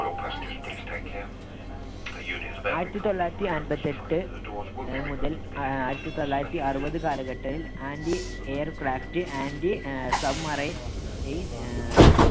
ആയിരത്തി തൊള്ളായിരത്തി അൻപത്തെട്ട് അഹ് മുതൽ ആ~ആയിരത്തി തൊള്ളായിരത്തി അറുപത് കാലഘട്ടത്തിൽ anti aircraftanti ആഹ് submarine ആഹ്